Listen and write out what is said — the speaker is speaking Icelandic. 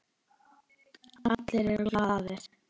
Allir eru glaðir.